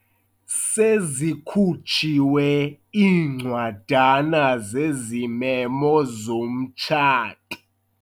Sezikhutshiwe iincwadana zezimemo zomtshato.